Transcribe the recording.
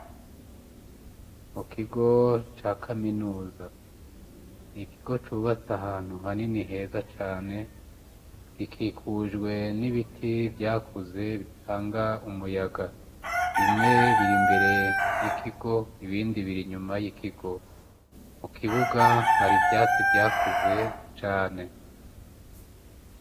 Mu kigo ca kaminuza, n'ikigo cubatse ahantu hanini heza cane gikikujwe n'ibiti vyakuze bitanga umuyaga, bimwe biri mbere y'ikigo ibindi biri inyuma y'ikigo, mu kibuga hari vyatsi vyakuze cane.